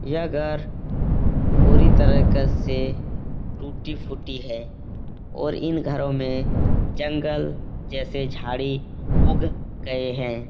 यह घर पूरी तरह कस से टूटी-फूटी है और इन घरों में जंगल जैसे झाड़ी उग गए हैं।